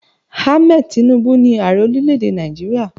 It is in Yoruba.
Ahmed Tinubu ní Ààrẹ orílẹ̀ èdè Nàìjíríà.